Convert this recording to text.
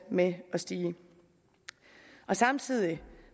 med at stige og samtidig